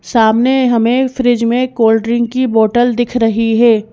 सामने हमें फ्रिज में कोल्ड ड्रिंक की बॉटल दिख रही है।